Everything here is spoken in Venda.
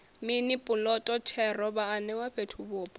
mini puloto thero vhaanewa fhethuvhupo